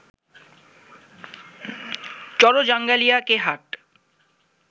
চরজাঙ্গালিয়া কে হাট